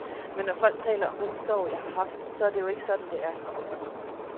Men når folk taler om den sorg, jeg har haft, så er det jo ikke sådan, det er.